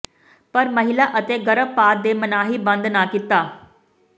ਪਰ ਮਹਿਲਾ ਅਤੇ ਗਰਭਪਾਤ ਦੇ ਮਨਾਹੀ ਬੰਦ ਨਾ ਕੀਤਾ